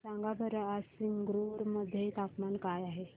सांगा बरं आज संगरुर मध्ये तापमान काय आहे